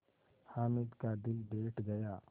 हामिद का दिल बैठ गया